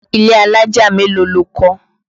Ilé alájà mélòó lo kọ́?